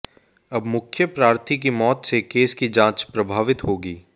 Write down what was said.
अब मुख्य प्रार्थी की माैत से केस की जांच प्रभावित होगी